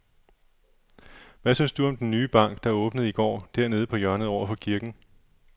Hvad synes du om den nye bank, der åbnede i går dernede på hjørnet over for kirken?